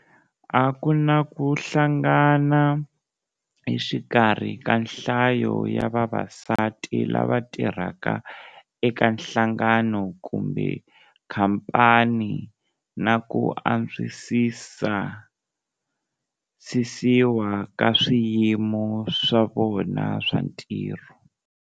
A ku na ku hlangana exikarhi ka nhlayo ya vavasati lava tirhaka eka nhlangano kumbe khampani na ku antswisiwa ka swiyimo swa vona swa ntirho.